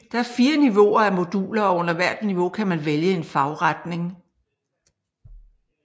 Der er 4 niveauer af moduler og under hvert niveau kan man vælge en fagretning